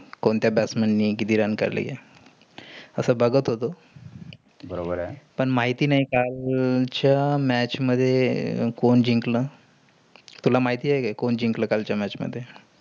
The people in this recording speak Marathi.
कोणत्या batsman नी किती run काढले. असं बघत होतो. बरोबर आहे. पण माहिती नाही कालच्या match मध्ये कोण जिंकल? तुला माहिती आहे का? कोण जिकंल कालच्या match मध्ये?